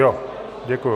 Jo, děkuji.